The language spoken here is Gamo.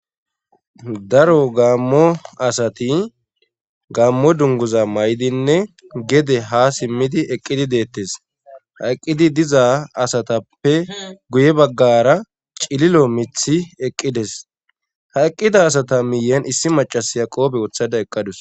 daro gaammo asati gaammo dunguza may7dinne gede ha simmidi eqqidi deettes ha eqqidi diza asatappe guye baggara cililo mithi eqqides ha eqqida asata miyen issi macasiya qoobe woothada eqqadus